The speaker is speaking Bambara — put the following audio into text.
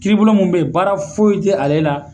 Kiiribulon mun be yen, baara foyi te ale la